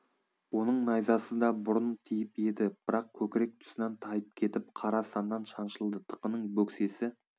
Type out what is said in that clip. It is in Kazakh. оның найзасы да бұрын тиіп еді бірақ көкірек тұсынан тайып кетіп қара саннан шаншылды тықының бөксесі